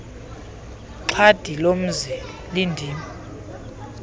xhadi lomzi lindim